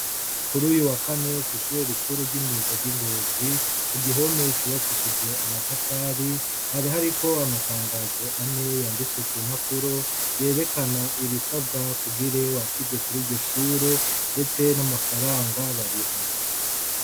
Kuruyu wakane kwishure rikuru ry’imyuga ry’ingozi igihome cubakishije amatafari hari hariko amatangazo ane yanditswe ku mpapuro yerekana ibisabwa kugira wakirwe kuriryo shure ndetse n’amafaranga bariha.